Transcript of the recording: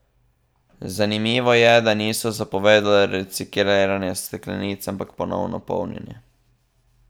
Zanimivo je, da niso zapovedali recikliranja steklenic, ampak ponovno polnjenje.